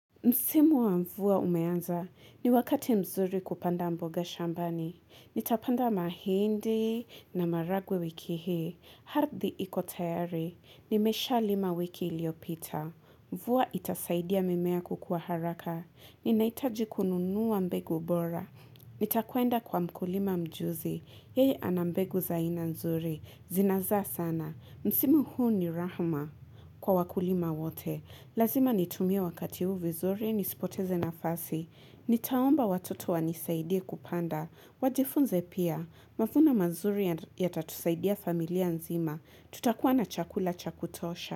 Msimu wa mvua umeanza, ni wakati mzuri kupanda mboga shambani. Nitapanda mahindi na maragwe wiki hii. Ardhi ikotayari, nimesha lima wiki iliopita. Mvua itasaidia mimea kukua haraka. Ninaitaji kununua mbegu bora. Nitakwenda kwa mkulima mjuzi. Yeye anambegu za aina mzuri. Zinazaa sana. Msimu huu ni rahuma kwa wakulima wote. Lazima nitumie wakati huu vizuri, nisipoteze nafasi. Nitaomba watoto wanisaidie kupanda. Wajifunze pia, mavuno mazuri ya tatusaidia familia nzima. Tutakuwa na chakula chakutosha.